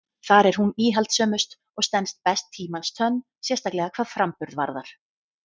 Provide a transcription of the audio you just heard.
Þar er hún íhaldssömust og stenst best tímans tönn, sérstaklega hvað framburð varðar.